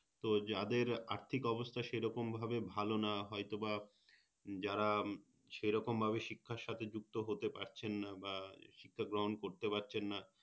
তো যাদের আর্থিক অবস্থা সেরকম ভাবে ভালো না হয়তো বা যারা সেরকম ভাবে শিক্ষার সাথে যুক্ত হতে পারছেন না বা শিক্ষা গ্রহণ করতে পারছেন না